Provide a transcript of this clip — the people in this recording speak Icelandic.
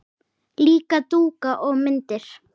Líka dúka og myndir.